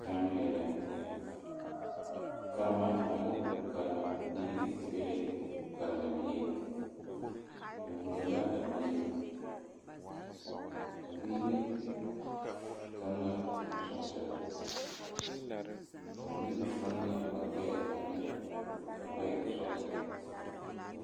Zannoo yɛlɛ karema ane o karembiiri be la karendieŋ o wullo a biiri a biiri tuŋ la sɔɔsire a biiri tuŋ la ba gbɛɛ ane ba gbɛɛ sɔɔsire.